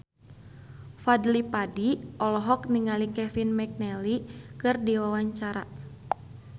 Fadly Padi olohok ningali Kevin McNally keur diwawancara